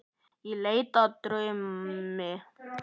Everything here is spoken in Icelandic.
Í leit að draumi.